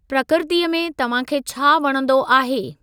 प्रकृतीअ में तव्हां खे छा वणंदो आहे?